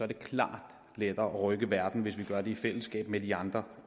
klart lettere at rykke verden hvis vi gør det i fællesskab med de andre